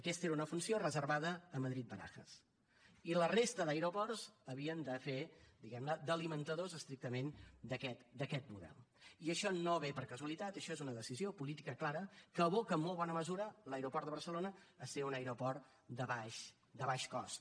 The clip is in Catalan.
aquesta era una funció reservada a madrid barajas i la resta d’aeroports havien de fer diguem ne d’alimentadors estrictament d’aquest model i això no ve per casualitat això és una decisió política clara que aboca en molt bona mesura l’aeroport de barcelona a ser un aeroport de baix cost